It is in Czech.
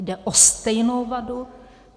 Jde o stejnou vadu.